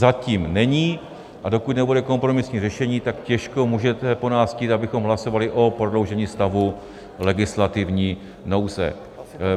Zatím není, a dokud nebude kompromisní řešení, tak těžko můžete po nás chtít, abychom hlasovali o prodloužení stavu legislativní nouze.